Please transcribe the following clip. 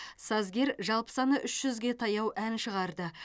сазгер жалпы саны үш жүзге таяу ән шығарды